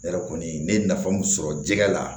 Ne yɛrɛ kɔni ne ye nafa mun sɔrɔ jɛgɛ la